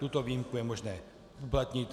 Tuto výjimku je možné uplatnit.